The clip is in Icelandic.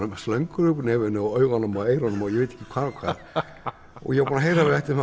slöngur út úr nefinu augum og eyrum ég var búinn að heyra að við ættum